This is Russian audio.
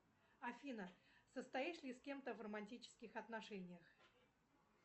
афина состоишь ли с кем то в романтических отношениях